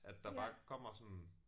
At der bare kommer sådan